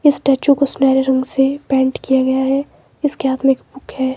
इस स्टैच्यू को सुनहरे रंग से पेंट किया गया है इसके हाथ में एक बुक है।